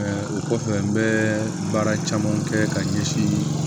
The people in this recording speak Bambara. o kɔfɛ n bɛ baara caman kɛ ka ɲɛsin